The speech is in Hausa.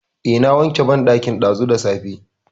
Eh, na wanke banɗakin ɗazu da safe.